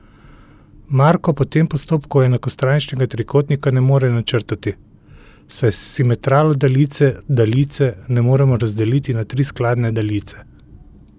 Marko po tem postopku enakostraničnega trikotnika ne more načrtati, saj s simetralo daljice daljice ne moremo razdeliti na tri skladne daljice.